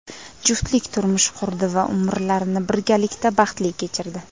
Juftlik turmush qurdi va umrlarini birgalikda baxtli kechirdi.